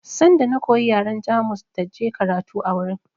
Sanda na koyi yaren Jamus da je karatu a wurin